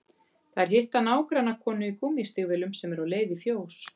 Þær hitta nágrannakonu í gúmmístígvélum sem er á leið í fjós